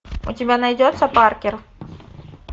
у тебя найдется паркер